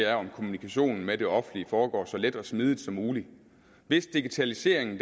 er om kommunikationen med det offentlige foregår så let og smidigt som muligt hvis digitaliseringen